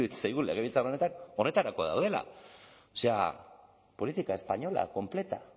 zaigu legebiltzar honetan honetarako gaudela o sea política española completa